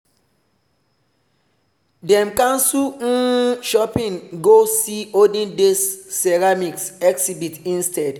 dem cancel um shopping go see olden days ceramics exhibit instead.